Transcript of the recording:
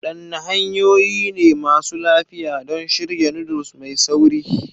Wadanne hanyoyi ne masu lafiya don shirya noodles mai sauri?